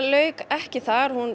lauk ekki þar hún